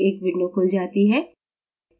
एक window खुल जाती है